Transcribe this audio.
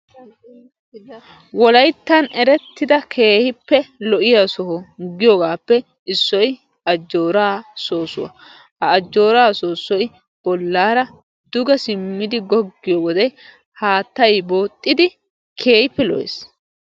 wolayttan erettida keehippe lo'iya soho giyoogaappe issoy ajjoraa soosuwa. ha ajooray duge wodiyode keehippe lo'ees.